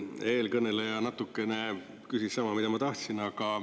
Eelkõneleja natukene küsis sama, mida ma tahtsin.